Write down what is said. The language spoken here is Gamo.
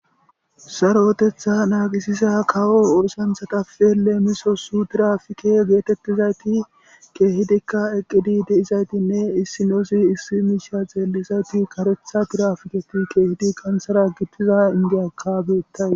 Saroteththa naagisiza kawo oosanchchatape leemisosi tirafike geetettizayti keehidikka eqqidi de'izaytinne issinoozi issi miishsha xeellizayti kareththa tirafiketi keehidi kantera gixida indiyakka beettayus